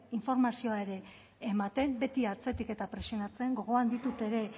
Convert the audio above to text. informazioa ere ematen beti atzetik eta presionatzen gogoan ditut ere